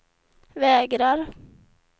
vägrar